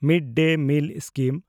mid-day meal scheme